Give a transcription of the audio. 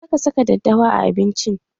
Za ka saka daddawa a abincin!